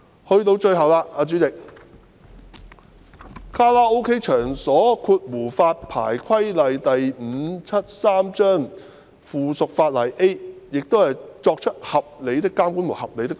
代理主席，最後是《卡拉 OK 場所規例》，修訂中文文本是"作出合理的監管及合理的努力"。